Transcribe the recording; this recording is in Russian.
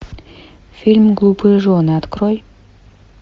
фильм глупые жены открой